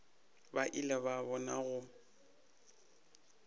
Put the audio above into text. ba ile ba bona go